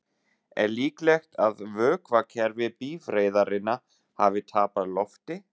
Er líklegt að vökvakerfi bifreiðarinnar hafi tapað lofti?